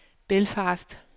Belfast